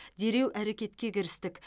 дереу әрекетке кірістік